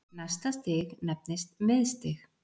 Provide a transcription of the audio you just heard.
Næsta stig nefnist miðstig.